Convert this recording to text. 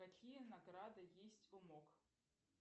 какие награды есть у мок